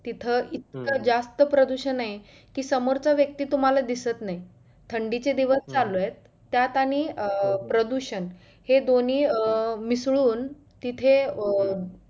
तिथं इतका जास्त प्रदुषण आहे, कि समोरचा व्यक्ती तुम्हाला दिसत नाही थंडीचे दिवस चालू आहेत, त्यात आणि अं प्रदुषण हे दोन्ही अं मिसळून तिथे अं